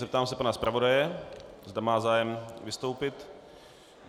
Zeptám se pana zpravodaje, zda má zájem vystoupit.